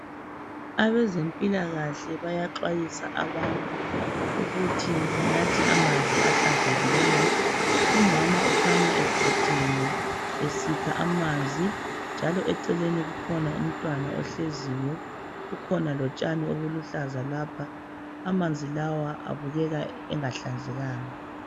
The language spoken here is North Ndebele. Abezempilakahle bayaxwayisa abantu ukuthi benathe amanzi ahlanzekileyo. Umama ukhanya eqotsheme esikha amanzi njalo eceleni kukhona umntwana ohleziyo, kukhona lotshani obuluhlaza lapho. Amanzi lawa abukeka engahlanzekanga.